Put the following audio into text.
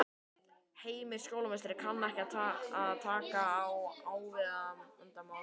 Heimir: Skólameistari kann að taka á agavandamálum?